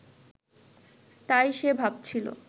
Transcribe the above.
তাই সে ভাবছিল